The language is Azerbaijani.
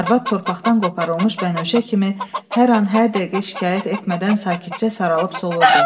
Arvad torpaqdan qoparılmış bənövşə kimi hər an hər dəqiqə şikayət etmədən sakitcə saralıb solurdu.